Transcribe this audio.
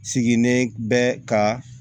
Sigini bɛ ka